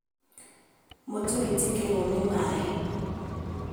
Mũtu waitĩkĩrwo nĩ maĩ